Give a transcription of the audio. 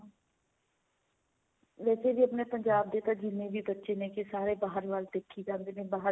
ਵੈਸੇ ਜੇ ਆਪਣੇ ਪੰਜਾਬ ਦੇ ਤਾਂ ਜਿੰਨੇ ਵੀ ਬੱਚੇ ਨੇਗੇ ਸਾਰੇ ਬਾਹਰ ਵੱਲ ਦੇਖੀ ਜਾਂਦੇ ਨੇ ਬਾਹਰ